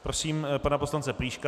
Prosím pana poslance Plíška.